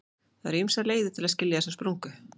Það eru ýmsar leiðir til að skilja þessa spurningu.